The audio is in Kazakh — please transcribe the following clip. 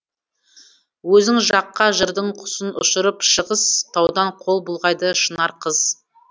өзің жаққа жырдың құсын ұшырып шығыс таудан қол бұлғайды шынар қыз